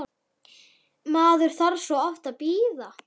Maður þarf svo oft að bíða!